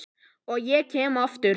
Og ég kem aftur.